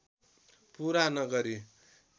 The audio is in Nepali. पूरा नगरी